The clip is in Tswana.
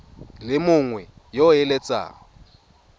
le mongwe yo o eletsang